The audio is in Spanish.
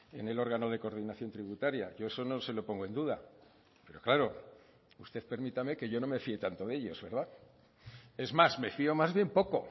en el órgano de coordinación tributaria yo eso no se lo pongo en duda pero claro usted permítame que yo no me fíe tanto de ellos verdad es más me fío más bien poco